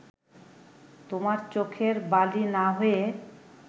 তোমার চোখের বালি না হয়ে